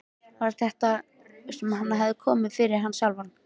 Var það ekki þetta sem hafði komið fyrir hann sjálfan?